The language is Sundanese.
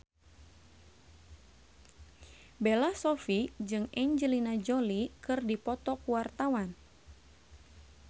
Bella Shofie jeung Angelina Jolie keur dipoto ku wartawan